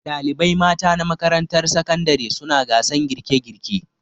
Dalibai mata na makarantar sakandare suna gasan girke girke